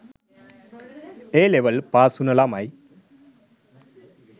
A level පාස්වුන ලමයි